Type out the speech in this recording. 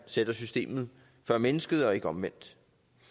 sætter systemet før mennesket og ikke omvendt